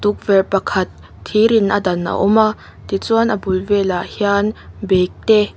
tukverh pakhat thir in a dan a awm a tichuan a bul velah hian bag te--